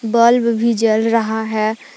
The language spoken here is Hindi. बल्ब भी जल रहा है।